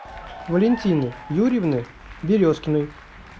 валентины юрьевны березкиной